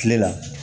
Kile la